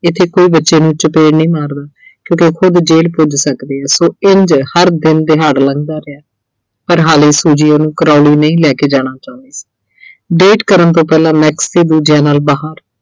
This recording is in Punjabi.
ਇੱਥੇ ਕੋਈ ਬੱਚਿਆਂ ਨੂੰ ਚਪੇੜ ਨਹੀਂ ਮਾਰਦਾ ਕਿਉਂਕਿ ਉਹ ਖੁਦ ਜ਼ੇਲ ਪੁੱਜ ਸਕਦੇ ਆ ਸੋ ਇੰਝ ਹਰ ਦਿਨ ਦਿਹਾੜ ਲੰਘਦਾ ਰਿਹਾ। ਪਰ ਹਾਲੇ Suji ਉਹਨੂੰ Crawley ਨਹੀਂ ਲੈ ਕੇ ਜਾਣਾ ਚਾਹੁੰਦੀ date ਕਰਨ ਤੋਂ ਪਹਿਲਾਂ Max ਤੇ ਦੂਜਿਆਂ ਨਾਲ ਬਾਹਰ